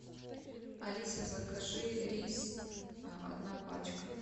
алиса закажи рис одна пачка